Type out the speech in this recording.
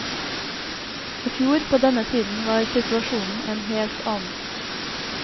I fjor på denne tiden var situasjonen en helt annen.